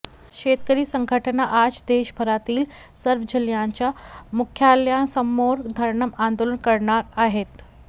शेतकरी संघटना आज देशभरातील सर्व जिल्ह्यांच्या मुख्यालयांसमोर धरणं आंदोलन करणार आहेत